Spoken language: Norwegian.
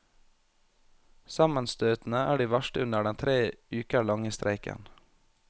Sammenstøtene er de verste under den tre uker lange streiken.